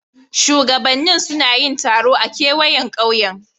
Shugabannin suna yin taro a kewayen kauyen.